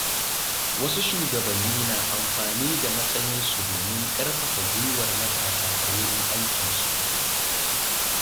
Wasu shugabanni na amfani da matsayinsu domin ƙarfafa guiwar matasa a wurin aikinsu.